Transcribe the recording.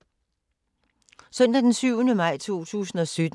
Søndag d. 7. maj 2017